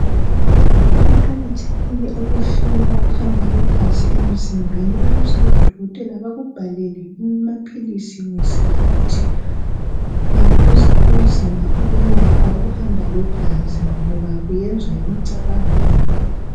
Kuqakathekile ukuhlola ukuhamba kwegazi emzimbeni ukuze odokotela bakubhalele amaphilisi ngesikhathi. Ungaphuza kunzima ukwelapha ukuhamba kwegazi ngoba kuyenzwa yimicabango yakho.